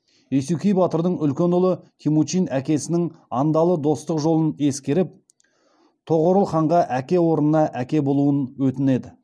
есукей батырдың үлкен ұлы темучин әкесінің андалы достық жолын ескеріп тоғорыл ханға әке орнына әке болуын өтінеді